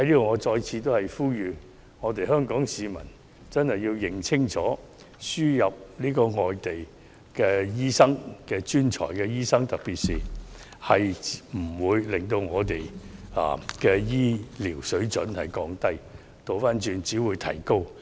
我在此再次呼籲：香港市民真的要認清楚，輸入外地專才醫生並不會降低我們的醫療水準，相反，水準會因而得以提高。